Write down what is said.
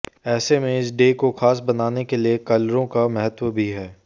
ऐसे में इस डे को खास बनाने के लिए कलरों का महत्व भी हैं